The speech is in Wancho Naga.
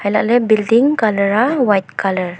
lagley building colour aa white colour.